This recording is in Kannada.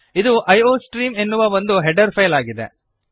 ಇದು ಐಯೋಸ್ಟ್ರೀಮ್ ಎನ್ನುವ ನಮ್ಮ ಹೆಡರ್ ಫೈಲ್ ಆಗಿದೆ